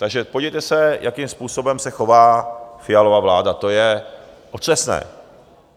Takže podívejte se, jakým způsobem se chová Fialova vláda, to je otřesné.